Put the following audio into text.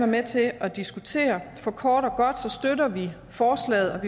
med til at diskutere for kort og godt støtter vi forslaget